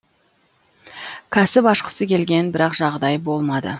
кәсіп ашқысы келген бірақ жағдайы болмады